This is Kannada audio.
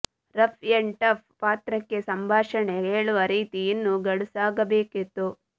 ರಫ್ ಎಂಡ್ ಟಫ್ ಪಾತ್ರಕ್ಕೆ ಸಂಭಾಷಣೆ ಹೇಳುವ ರೀತಿ ಇನ್ನೂ ಗಡುಸಾಗಬೇಕಿತ್ತು